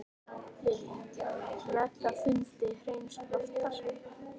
Lillý: Með þá fundi Hreins Loftssonar?